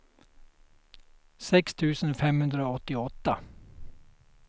sex tusen femhundraåttioåtta